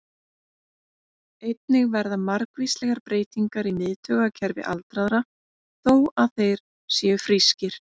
Einnig verða margvíslegar breytingar í miðtaugakerfi aldraðra, þó að þeir séu frískir.